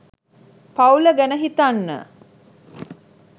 පවුල ගැන හිතන්න